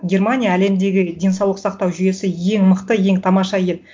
германия әлемдегі деңсаулық сақтау жүйесі ең мықты ең тамаша ел